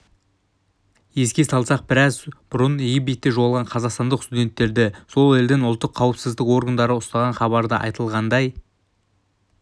еске салсақ біраз бұрын египетте жоғалған қазақстандық студенттерді сол елдің ұлттық қауіпсіздік органдары ұстаған хабарда айтылғандай